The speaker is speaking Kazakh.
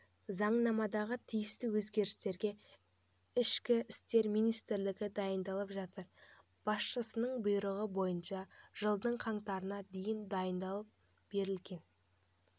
заңнамадағы тиісті өзгерістерге ішкі істер министрлігі дайындалып жатыр басшысының бұйрығы бойынша жылдың қаңтарына дейін дайындалып берілген